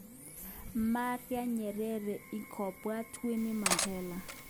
Marria Nyerere inkobwat Winnie Mandela.